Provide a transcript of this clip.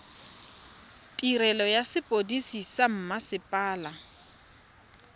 tirelo ya sepodisi sa mmasepala